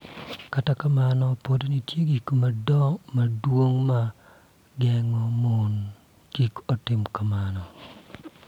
Kata kamano, pod nitie gik madongo ma geng�o mondo kik otim kamano,